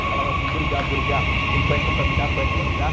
Ele falava assim, tem cueca para me dar, cueca para me dar.